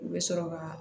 U bɛ sɔrɔ ka